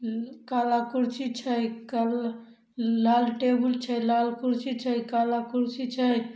काला कुर्सी छै काल-लाल टेबुल छै लाल कुर्सी छै काला कुर्सी छै।